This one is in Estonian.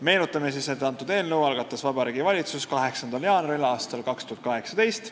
Meenutan siis, et selle eelnõu algatas Vabariigi Valitsus 8. jaanuaril aastal 2018.